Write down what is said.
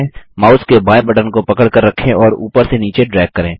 mouse के बायें button को पकड़कर रखें और ऊपर से नीचे ड्रैग करें